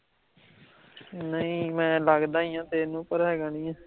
ਨਹੀਂ ਮੈਂ ਲੱਗਦਾ ਈ ਆਂ ਤੈਂਨੂੰ ਪਰ ਹੈਗਾ ਨੀ ਆਂ